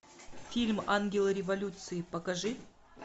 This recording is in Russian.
фильм ангелы революции покажи